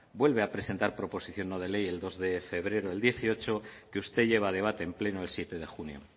vuelve a presentar proposición no de ley el dos de febrero del dieciocho que usted lleva a debate en pleno el siete de junio